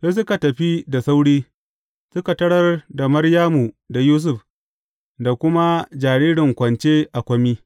Sai suka tafi da sauri, suka tarar da Maryamu da Yusuf, da kuma jaririn kwance a kwami.